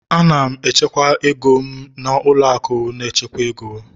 Ana m echekwa ego m na ụlọ akụ na-echekwa ego